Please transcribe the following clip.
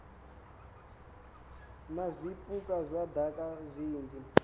na zwipuka zwa daka zwinzhi